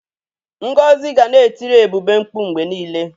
Ngozi ga na-etiri Ebube mkpụ mgbe niile.